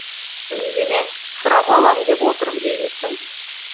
үндеме сұрап алам деп отыр деймісің